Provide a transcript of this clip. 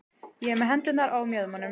Ég er með hendurnar á mjöðmunum.